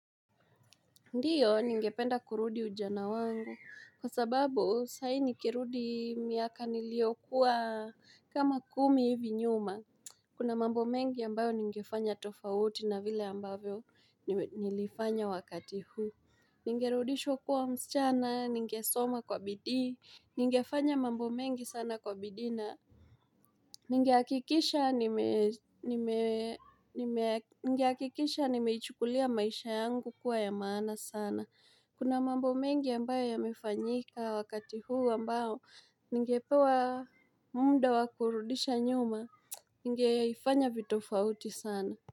Ndiyo, ningependa kurudi ujana wangu, kwa sababu, sahii nikirudi miaka niliyokuwa kama kumi hivi nyuma. Kuna mambo mengi ambayo ningefanya tofauti na vile ambavyo nilifanya wakati huu. Ningerudishwa kuwa msichana, ningesoma kwa bidii. Ningefanya mambo mengi sana kwa bidii na ningehakikisha nime Ningeakikisha nimeichukulia maisha yangu kuwa ya mana sana. Kuna mambo mengi ambayo yamefanyika wakati huu ambao ningepewa munda wa kurudisha nyuma ningeifanya vitofauti sana.